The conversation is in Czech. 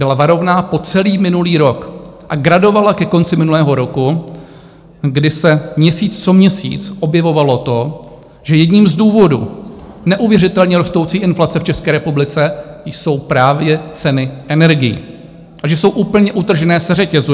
Byla varovná po celý minulý rok a gradovala ke konci minulého roku, kdy se měsíc co měsíc objevovalo to, že jedním z důvodů neuvěřitelně rostoucí inflace v České republice jsou právě ceny energií a že jsou úplně utržené ze řetězu.